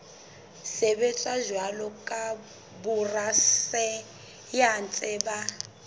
sebetsa jwalo ka borasaense ba